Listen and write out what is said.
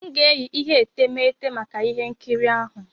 M ga-eyi ihe etemeete maka ihe nkiri ahụ.